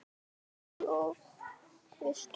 Kol og vistir.